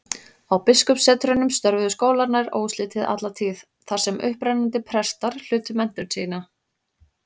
Á biskupssetrunum störfuðu skólar nær óslitið alla tíð, þar sem upprennandi prestar hlutu menntun sína.